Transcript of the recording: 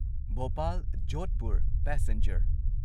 Bhopal Jodhpur passenger